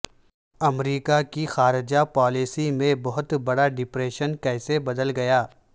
امریکہ کی خارجہ پالیسی میں بہت بڑا ڈپریشن کیسے بدل گیا